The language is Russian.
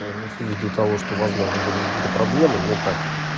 ввиду того что возможно были какие-то проблемы но так